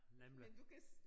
Nemlig